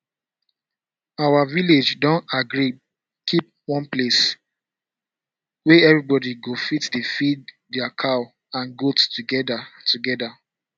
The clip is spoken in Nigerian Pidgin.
our village don agree keep one place wey everybody go fit dey feed their cow and goat together together